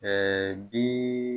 bi